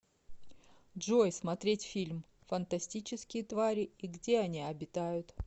джой смотреть фильм фантастические твари и где они обитают